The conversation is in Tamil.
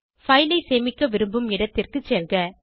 பைல் ஐ சேமிக்க விரும்பும் இடத்திற்கு செல்க